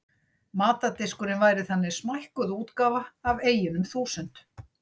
Matardiskurinn væri þannig smækkuð útgáfa af eyjunum þúsund.